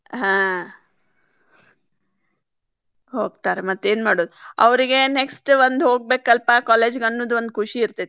ಹಾ ಹೋಗ್ತಾರ ಮತ್ತ್ ಏನ್ ಮಾಡೋದ್ ಅವ್ರಿಗೆ next ಒಂದ್ ಹೋಗ್ಬೇಕಲ್ಲಪಾ college ಗೆ ಅನ್ನುದ ಒಂದ್ ಖುಷಿ ಇರ್ತೇತಿ.